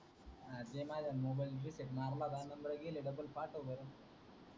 हा दे माझा मोबाइल मी रीसेट मारला होता नंबर गेले डबल पाठव बर